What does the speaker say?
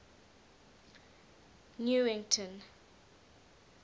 newington